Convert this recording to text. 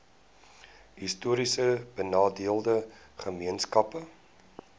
histories benadeelde gemeenskappe